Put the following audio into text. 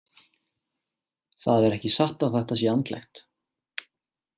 Það er ekki satt að þetta sé andlegt.